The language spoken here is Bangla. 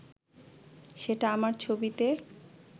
সেটা আমার ছবিতে